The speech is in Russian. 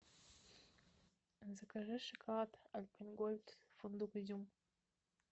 закажи шоколад альпенгольд фундук изюм